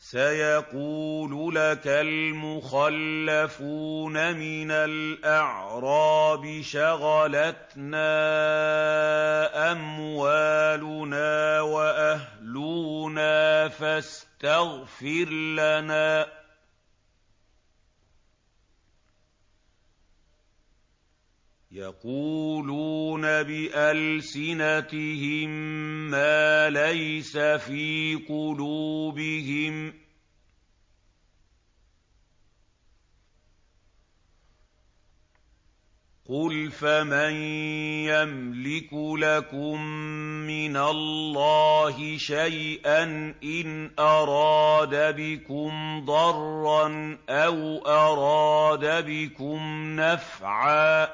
سَيَقُولُ لَكَ الْمُخَلَّفُونَ مِنَ الْأَعْرَابِ شَغَلَتْنَا أَمْوَالُنَا وَأَهْلُونَا فَاسْتَغْفِرْ لَنَا ۚ يَقُولُونَ بِأَلْسِنَتِهِم مَّا لَيْسَ فِي قُلُوبِهِمْ ۚ قُلْ فَمَن يَمْلِكُ لَكُم مِّنَ اللَّهِ شَيْئًا إِنْ أَرَادَ بِكُمْ ضَرًّا أَوْ أَرَادَ بِكُمْ نَفْعًا ۚ